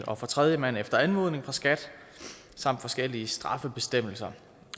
og for tredjemand efter anmodning fra skat samt forskellige straffebestemmelser